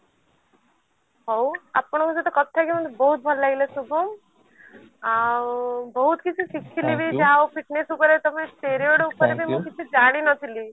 ହଉ ଆପଣଙ୍କ ସହିତ କଥା ହେଇକି ମତେ ବହୁତ ଭଲ ଲାଗିଲା ଶୁଭମ ଆଉ ବହୁତ କିଛି ଶିଖିଲି ବି fitness ଉପରେ ତମେ steroid ଉପରେ ବି ମୁଁ ଜାଣି ନଥିଲି